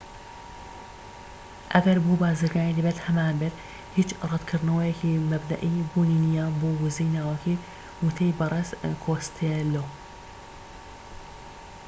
ئەگەر بووە بازرگانی دەبێت هەمانبێت هیچ ڕەتکردنەوەیەکی مەبدەئی بوونی نیە بۆ وزەی ناوەکی وتەی بەرێز کۆستێلۆ